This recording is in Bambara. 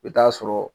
I bɛ taa sɔrɔ